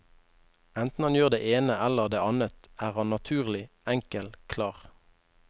Enten han gjør det ene eller det annet er han naturlig, enkel, klar.